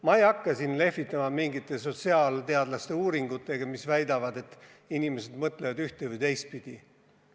Ma ei hakka siin lehvitama mingite sotsiaalteadlaste uuringutega, mis väidavad, et inimesed mõtlevad ühte- või teistpidi.